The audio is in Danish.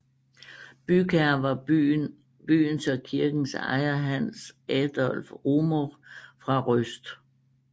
Bygherre var byens og kirkens ejer Hans Adolph Rumohr fra Røst